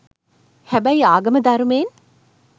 හැබැයි ආගම ධර්මයෙන්